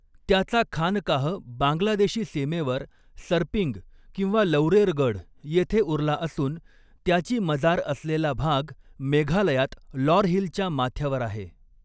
त्याचा खानकाह बांगलादेशी सीमेवर सरपिंग किंवा लौरेरगढ येथे उरला असून त्याची मजार असलेला भाग मेघालयात लॉर हिलच्या माथ्यावर आहे.